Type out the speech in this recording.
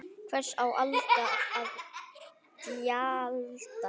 Hvers á Alda að gjalda?